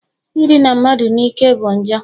Idina mmadụ n'ike bụ njọ